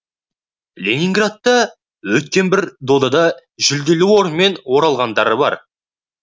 ленинградта өткен бір додада жүлделі орынмен оралғандары бар